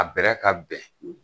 A bɛrɛ ka bɛn